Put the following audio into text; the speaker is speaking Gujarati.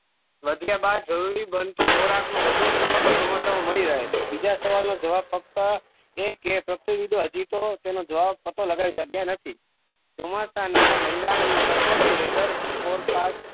વધ્યા બાદ જરૂરી બનતો ખોરક નો વધુ પુરવઠો ચોમાસા માં મળી રહે છે બીજા સવાલ નો જવાબ ફક્ત એ કે પ્રતિયુદ હજીતો તેનો જવાબ પતો લગાય શકયા નથી ચોમાસા નાં મંડાણ નું સચોટ weather forecast